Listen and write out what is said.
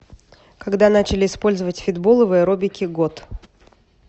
когда начали использовать фитболы в аэробике год